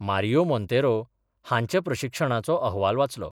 मारियो मोन्तेरो हांच्या प्रक्षिशणाचो अहवाल वाचलो.